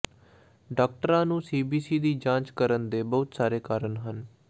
ਡਾਕਟਰਾਂ ਨੂੰ ਸੀਬੀਸੀ ਦੀ ਜਾਂਚ ਕਰਨ ਦੇ ਬਹੁਤ ਸਾਰੇ ਕਾਰਨ ਹਨ